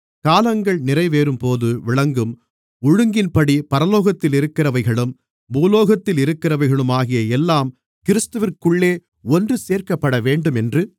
காலங்கள் நிறைவேறும்போது விளங்கும் ஒழுங்கின்படி பரலோகத்திலிருக்கிறவைகளும் பூலோகத்திலிருக்கிறவைகளுமாகிய எல்லாம் கிறிஸ்துவிற்குள்ளே ஒன்று சேர்க்கப்படவேண்டுமென்று